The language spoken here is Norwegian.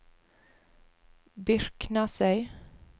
Byrknesøy